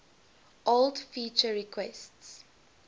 old feature requests